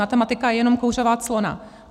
Matematika je jenom kouřová clona.